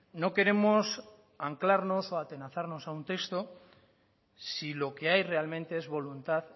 no queremos anclarnos o atenazarnos a un texto si lo que hay realmente es voluntad